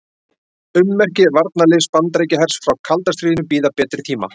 Ummerki varnarliðs Bandaríkjahers frá kalda stríðinu bíða betri tíma.